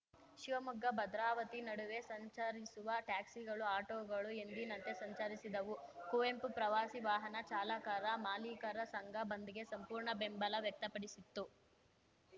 ಶಿವಮೊಗ್ಗಭದ್ರಾವತಿ ನಡುವೆ ಸಂಚರಿಸುವ ಟ್ಯಾಕ್ಸಿಗಳು ಆಟೋಗಳು ಎಂದಿನಂತೆ ಸಂಚರಿಸಿದವು ಕುವೆಂಪು ಪ್ರವಾಸಿ ವಾಹನ ಚಾಲಕರಮಾಲೀಕರ ಸಂಘ ಬಂದ್‌ಗೆ ಸಂಪೂರ್ಣ ಬೆಂಬಲ ವ್ಯಕ್ತಪಡಿಸಿತ್ತು